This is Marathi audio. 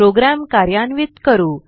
प्रोग्रॅम कार्यान्वित करू